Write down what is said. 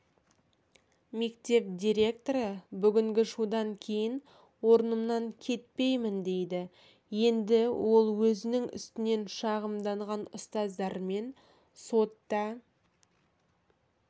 мектеп директоры бүгінгі шудан кейін орнымнан кетпеймін дейді енді ол өзінің үстінен шағымданған ұстаздармен сотта